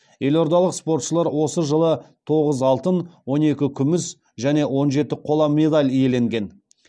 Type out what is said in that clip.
елордалық спортшылар осы жылы тоғыз алтын он екі күміс және он жеті қола медаль иеленген